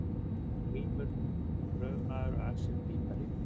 Grímur gröfumaður og axel pípari.